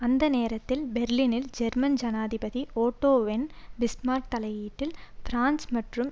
அந்த நேரத்தில் பெர்லினில் ஜெர்மன் ஜனாதிபதி ஓட்டோ வென் பிஸ்மார்க் தலையீட்டில் பிரான்சு மற்றும்